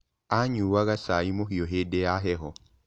Aanyuaga cai mũhiũ hĩndĩ ya heho.